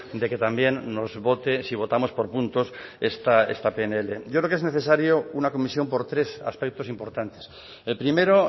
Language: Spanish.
de que también nos vote si votamos por puntos esta pnl yo creo que es necesario una comisión por tres aspectos importantes el primero